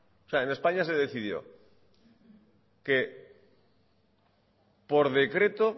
o sea en españa se decidió que por decreto